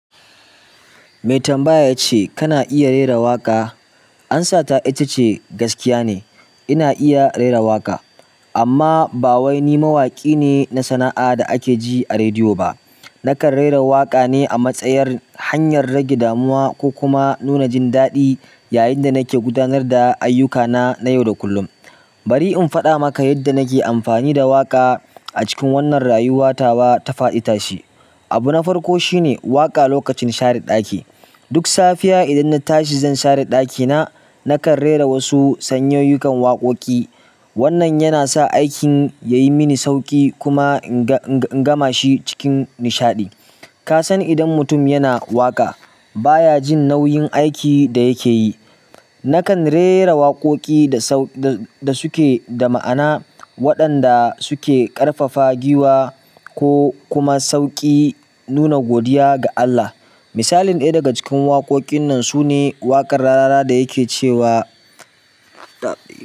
Mai tambaya ya ce kana iya rera waƙa. Ansata ita ce gaskiya ne. Ina iya rera waƙa, amma ba wai ni mawaƙi ne na sana'a da ake ji a rediyo ba. Nakan rera waƙa ne a matsayar hanyar rage damuwa ko kuma nuna jin daɗi yayin da nake gudanar da ayyukana na yau da kullum. Bari in faɗa maka yadda nake amfani da waƙa a cikin wannan rayuwa tawa ta faɗi ta shi. Abu na farko shine waƙa lokacin share ɗaki. Duk safiya idan na tashi zan share ɗakina, nakan rera wasu sanyayukon waƙoƙi. Wannan yana sa aikin yayi mini sauƙi kuma in gama shi cikin nishaɗi. Ka san idan mutum yana waƙa baya jin nauyin aikin da yake yi. Nakan rera waƙoƙi da suke da ma'ana waɗanda suke ƙarfafa giwa ko kuma sauƙi nuna godiya ga Allah. Misalin ɗaya daga cikin waƙoƙin nan sune waƙar Rarara da yake cewa.